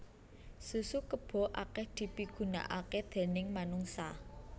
Susu kébo akèh dipigunakaké déning manungsa